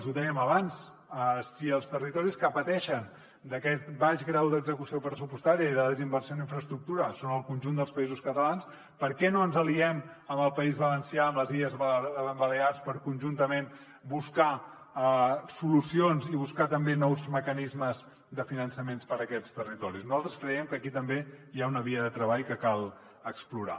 ho dèiem abans si els territoris que pateixen aquest baix grau d’execució pressupostària i de desinversió en infraestructura són al conjunt dels països catalans per què no ens aliem amb el país valencià amb les illes balears per conjuntament buscar solucions i buscar també nous mecanismes de finançament per a aquests territoris nosaltres creiem que aquí també hi ha una via de treball que cal explorar